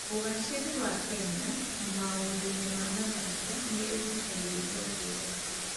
Ũgaacĩru wa Kenya maũndũ-inĩ ma mathako nĩ ũgucagĩrĩria thĩ yothe.